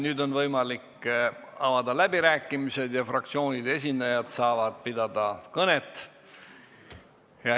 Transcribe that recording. Nüüd on võimalik pidada läbirääkimisi, fraktsioonide esindajad saavad pidada kõnet.